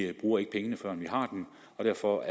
vi bruger ikke pengene førend vi har dem derfor